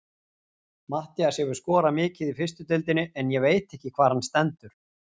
Matthías hefur skorað mikið í fyrstu deildinni en ég veit ekki hvar hann stendur.